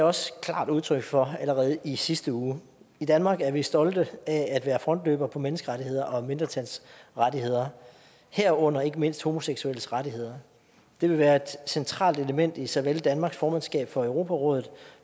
også klart udtryk for allerede i sidste uge i danmark er vi stolte af at være frontløbere på menneskerettigheder og mindretalsrettigheder herunder ikke mindst homoseksuelles rettigheder det vil være et centralt element i såvel danmarks formandskab for europarådet